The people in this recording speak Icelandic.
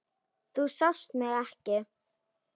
Þú sást mig ekki.